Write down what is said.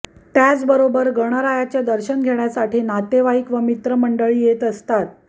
त्याचबरोबर गणरायाचे दर्शन घेण्यासाठी नातेवाईक व मित्रमंडळी येत असतात